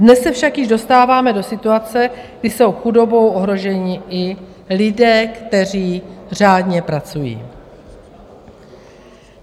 Dnes se však již dostáváme do situace, kdy jsou chudobou ohroženi i lidé, kteří řádně pracují.